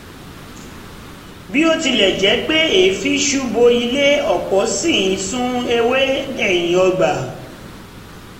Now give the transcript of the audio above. bí ó tilẹ̀ jẹ́ pé èéfín ñ ṣú bo ilé ọ̀pọ̀ ṣì ń sun ewé ẹ̀yìn ọgbà